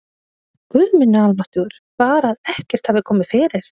Guð minn almáttugur, bara að ekkert hafi komið fyrir!